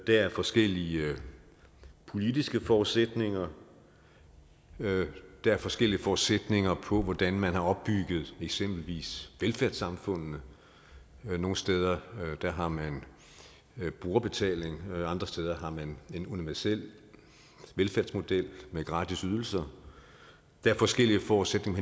er forskellige politiske forudsætninger der er forskellige forudsætninger for hvordan man har opbygget eksempelvis velfærdssamfundene nogle steder har man brugerbetaling andre steder har man en universel velfærdsmodel med gratisydelser der er forskellige forudsætninger